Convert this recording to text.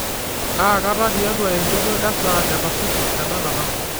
kaakata tiatua enchoto esaa e pasifik tenakata